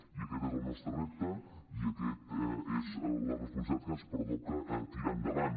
i aquest és el nostre repte i aquesta és la responsabilitat que ens pertoca tirar endavant